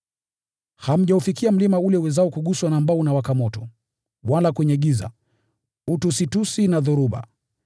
Hamjaufikia mlima ule uwezao kuguswa na ambao unawaka moto; wala kwenye giza, utusitusi na dhoruba;